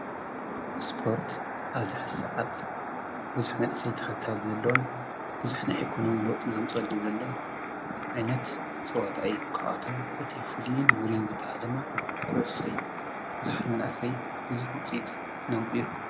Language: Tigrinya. እስፖርት ኣዝሕ ሰዓት ብዙኅ መንእሰይ ተኸታል ዘለዎን ብዙኅና ኤኮኖም ለወፅ ዘምጸዱ ዘሎን ኣይነት ጽዋታኣይ ኳኣቶም እቲ ፉልይን ውርን ዝበሃለማ ዂዑ ሰይሉ ብዙሕት መናእሰይ ብዙኅ ውፂት ናምቢርኩ።